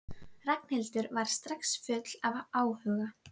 Ragnhildur var strax full af áhuga.